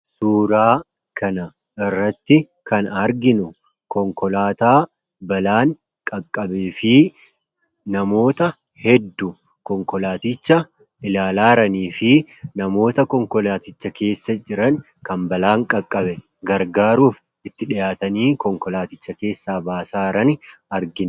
Suuraa kana irratti kan arginu, konkolaataa balaan qaqqabee fi namoota hedduu konkolaaticha ilaalaa jiranii fi namoota konkolaaticha keessa jiran kan balaan qaqqabe gargaaruuf itti dhihaatanii konkolaaticha keessaa baasaa jiran argina.